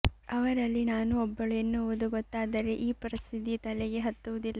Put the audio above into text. ಅವರಲ್ಲಿ ನಾನೂ ಒಬ್ಬಳು ಎನ್ನುವುದು ಗೊತ್ತಾದರೆ ಈ ಪ್ರಸಿದ್ಧಿ ತಲೆಗೆ ಹತ್ತುವುದಿಲ್ಲ